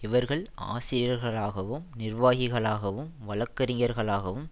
இவர்கள் ஆசிரியர்களாகவும் நிர்வாகிகளாகவும் வழக்கறிஞ்ஞர்களாகவும்